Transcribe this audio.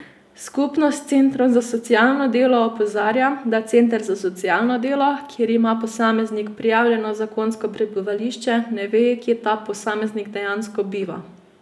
Skupnost centrov za socialno delo opozarja, da center za socialno delo, kjer ima posameznik prijavljeno zakonsko prebivališče, ne ve, kje ta posameznik dejansko biva.